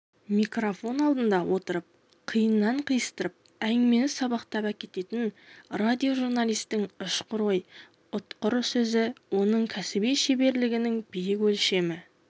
микрофон алдында отырып қиыннан қиыстырып әңгімені сабақтап әкететін радиожурналистің ұшқыр ой ұтқыр сөзі оның кәсіби шеберлігінің биік өлшемі